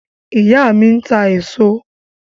Ìyá mí ń ta èso